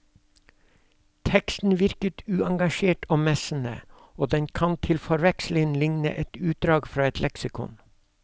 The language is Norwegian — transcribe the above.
Teksten virker uengasjert og messende, og den kan til forveksling ligne et utdrag fra leksikon.